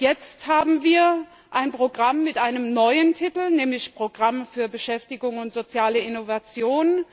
Jetzt haben wir ein Programm mit einem neuen Titel, nämlich Programm für Beschäftigung und soziale Innovation.